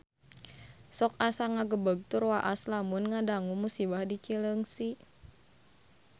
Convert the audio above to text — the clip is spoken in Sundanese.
Sok asa ngagebeg tur waas lamun ngadangu musibah di Cileungsi